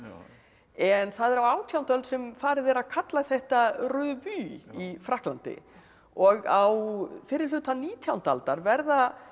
en það er á átjándu öld sem farið er að kalla þetta revue í Frakklandi og á fyrri hluta nítjándu aldar verða